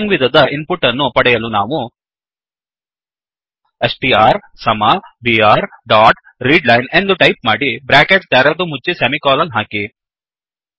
string ವಿಧದ input ಅನ್ನು ಪಡೆಯಲು ನಾವು ಸ್ಟ್ರ್ ಸಮ ಬಿಆರ್ ಡಾಟ್ ರೀಡ್ಲೈನ್ ಎಂದು ಟೈಪ್ ಮಾಡಿ ಬ್ರ್ಯಾಕೆಟ್ ತೆರೆದು ಮುಚ್ಚಿ ಸೆಮಿಕೋಲನ್ ಹಾಕಿ